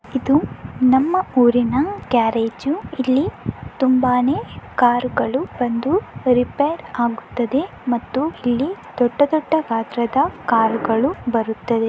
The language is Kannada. ಇದು ನಮ್ಮ ಊರಿನ ಗ್ಯಾರೇಜ್ . ಇಲ್ಲಿ ತುಂಬಾನೆ ಕಾರುಗಳು ಬಂದು ರಿಪೇರ್ ಆಗುತ್ತದೆ ಮತ್ತು ಇಲ್ಲಿ ದೊಡ್ಡ ದೊಡ್ಡ ಗಾತ್ರದ ಕಾರ್ ಗಳು ಬರುತ್ತದೆ.